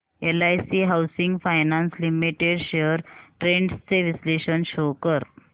LIC housing finance limited shares trends चे विश्लेषण show कर